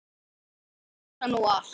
Komin í kassann og allt.